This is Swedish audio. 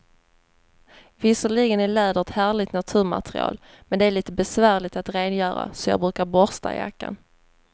Visserligen är läder ett härligt naturmaterial, men det är lite besvärligt att rengöra, så jag brukar borsta jackan.